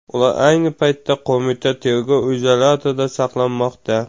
Ular ayni paytda qo‘mita tergov izolyatorida saqlanmoqda.